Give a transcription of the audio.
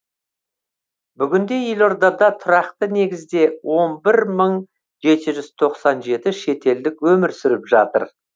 бүгінде елордада тұрақты негізде он бір мың жеті жүз тоқсан жеті шетелдік өмір сүріп жатыр